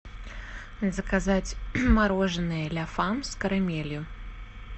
заказать мороженое ля фам с карамелью